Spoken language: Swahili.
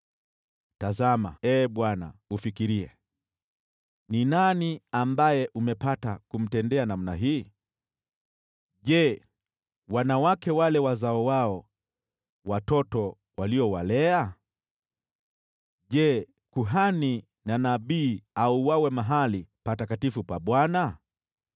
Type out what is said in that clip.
“Tazama, Ee Bwana , ufikirie: Ni nani ambaye umepata kumtendea namna hii? Je, wanawake wakule wazao wao, watoto waliowalea? Je, kuhani na nabii auawe mahali patakatifu pa Bwana?